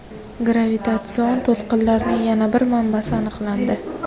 Gravitatsion to‘lqinlarning yana bir manbasi aniqlandi.